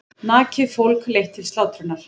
Nakið fólk leitt til slátrunar.